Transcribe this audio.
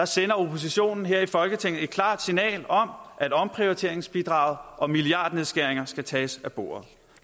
sender oppositionen her i folketinget et klart signal om at omprioriteringsbidraget og milliardnedskæringerne skal tages af bordet